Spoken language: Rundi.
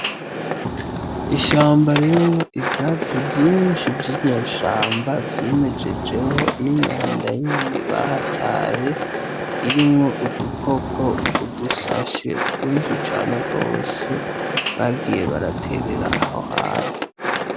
Ishamba ririmwo ivyatsi vyinshi vy'inyeshamba vyimejejeho n'imyanda yindi bahataye irimwo udukopo udusashe twinshi cane rwose bagiye baraterera aho hantu.